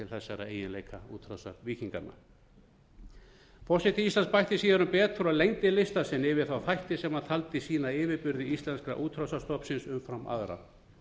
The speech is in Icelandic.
þessara eiginleika útrásarvíkinganna forseti íslands bætti síðar um betur og lengdi lista sinn yfir þættina sem hann taldi sýna yfirburði íslenskra útrásarstofnsins umfram aðra